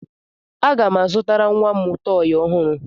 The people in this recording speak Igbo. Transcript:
Aga m azụtara nwa m tọọyị ọhụrụ.